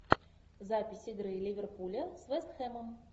запись игры ливерпуля с вест хэмом